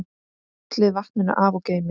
Hellið vatninu af og geymið.